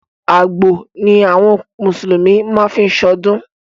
Àgbò ni àwọn mùsùlùmí má ń fí ṣọdún.